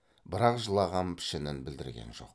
бірақ жылаған пішінін білдірген жоқ